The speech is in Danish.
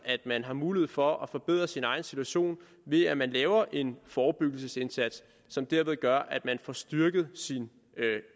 man har mulighed for at forbedre sin egen situation ved at man laver en forebyggelsesindsats som derved gør at man får styrket sin